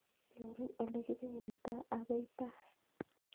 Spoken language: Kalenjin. Nyorun ole kibenditoo akoi paa